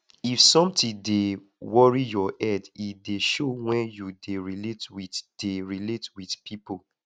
if sometin dey worry your head e dey show wen you dey relate wit dey relate wit pipo